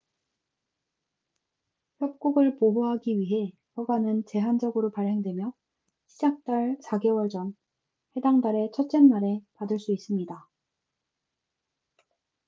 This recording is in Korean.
협곡을 보호하기 위해 허가는 제한적으로 발행되며 시작 달 4개월 전 해당 달의 첫째 날에 받을 수 있습니다